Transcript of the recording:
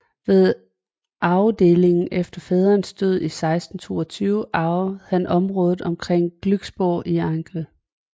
Ved arvedelingen efter faderens død i 1622 arvede han området omkring Glücksborg i Angel